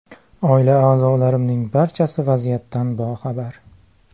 Oila a’zolarimning barchasi vaziyatdan boxabar.